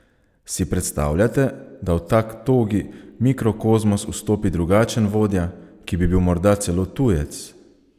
Si predstavljate, da v tak togi mikrokozmos vstopi drugačen vodja, ki bi bil morda celo tujec?